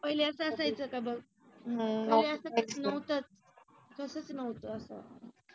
पहिले अस असायचं का बघ. पहिले अस नव्हतच. तसंच नव्हत.